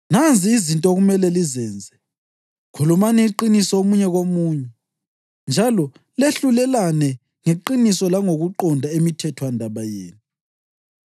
Nanzi izinto okumele lizenze: Khulumani iqiniso omunye komunye, njalo lehlulelane ngeqiniso langokuqonda emithethwandaba yenu;